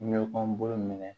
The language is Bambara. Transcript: Mi kɔnɔn minɛ